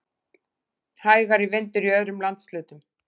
Hægari vindur í öðrum landshlutum